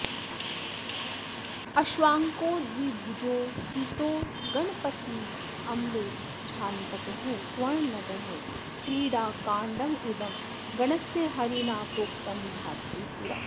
अश्वाङ्को द्विभुजो सितो गणपतिर्म्लेच्छान्तकः स्वर्णदः क्रीडाकाण्डमिदं गणस्य हरिणा प्रोक्तं विधात्रे पुरा